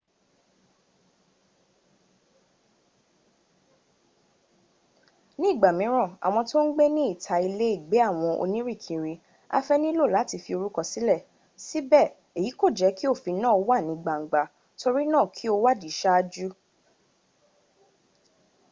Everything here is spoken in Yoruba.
ní ìgbà mìíràn àwọn tó ń gbé ní ìta ilé ìgbé àwọn-onírìnkiri afẹ́ nílò láti fi orúkọ sílẹ̀. síbẹ̀ èyí kò jẹ́́ kí òfin náà wà ní gbangba torí náà kí o wádìí saájú